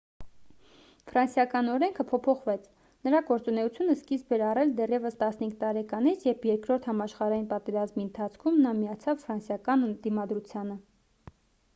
ֆրանսիական օրենքը փոփոխվեց նրա գործունեությունը սկիզբ էր առել դեռևս 15 տարեկանից երբ երկրորդ համաշխարհային պատերազմի ընթացքում նա միացավ ֆրանսիական դիմադրությանը